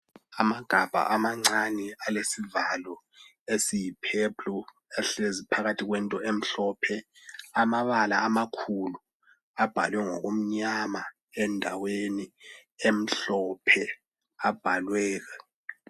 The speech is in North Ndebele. Amagabha amancane alesivalo esiyi purple ahlezi phakathi kwento emhlophe amabala amakhulu abhalwe ngokumnyama endaweni emhlophe abhaliwe